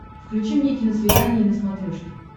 включи мне киносвидание на смотрешке